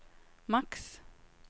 maks